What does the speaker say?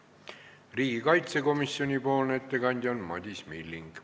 Riigikaitsekomisjoni ettekandja on Madis Milling.